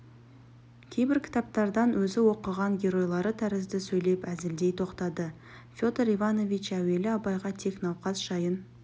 кейбір кітаптардан өзі оқыған геройлары тәрізді сөйлеп әзілдей тоқтады федор иванович әуелі абайға тек науқас жайын